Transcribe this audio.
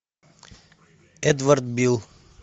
эдвард билл